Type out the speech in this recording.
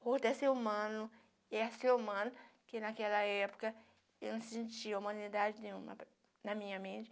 O outro é ser humano, e é ser humano, que naquela época eu não sentia humanidade nenhuma na minha mente.